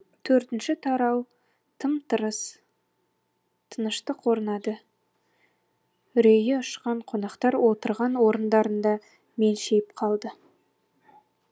төртінші тарау тым тырыс тыныштық орнады үрейі ұшқан қонақтар отырған орындарында мелшиіп қалды